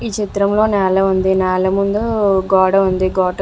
ఈ చిత్రంలో నేల ఉంది. నేల ముందు గోడ ఉంది. గోడ --